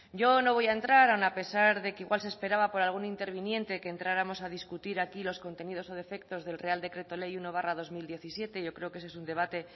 yo no voy a entrar aun a pesar de que igual se esperaba por algún interviniente que entráramos a discutir aquí los contenidos o defectos del real decreto ley uno barra dos mil diecisiete yo creo que ese es un debate